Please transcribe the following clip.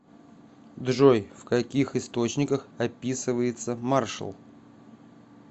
джой в каких источниках описывается маршал